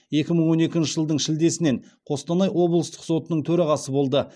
екі мың он екінші жылдың шілдесінен қостанай облыстық сотының төрағасы болды